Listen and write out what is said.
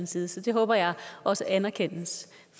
side så det håber jeg også anerkendes